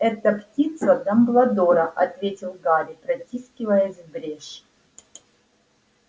это птица дамблдора ответил гарри протискиваясь в брешь